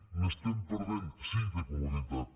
n’estem perdent sí de comoditat